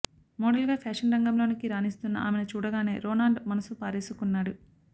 మోడల్గా ఫ్యాషన్ రంగంలో రాణిస్తున్న ఆమెను చూడగానే రొనాల్డో మనసు పారేసుకున్నాడు